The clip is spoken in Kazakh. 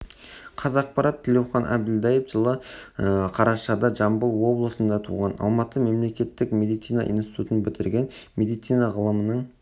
қазақпарат тілеухан әбілдаев жылы қарашада жамбыл облысында туған алматы мемлекеттік медицина институтын бітірген медицина ғылымының